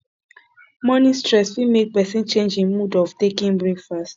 morning stress fit make pesin change im mood of taking breakfast